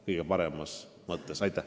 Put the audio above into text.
Aitäh!